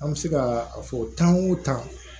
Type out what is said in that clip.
An bɛ se ka a fɔ tan o tan